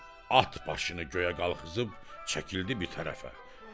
At başını göyə qalxızıb çəkildi bir tərəfə.